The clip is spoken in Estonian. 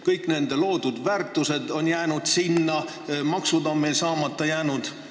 Kõik nende loodud väärtused on mujal loodud, ka maksud on meil saamata jäänud.